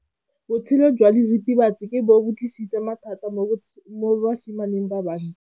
Botshelo jwa diritibatsi ke bo tlisitse mathata mo basimaneng ba bantsi.